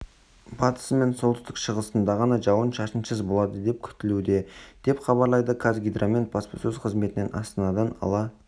батысы мен солтүстік-шығысында ғана жауын-шашынсыз болады деп күтілуде деп хабарлады қазгидромет баспасөз қызметінен астанада ала